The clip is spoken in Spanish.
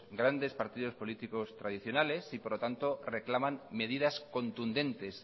grandes partidos políticas tradicionales y por lo tanto reclaman medidas contundentes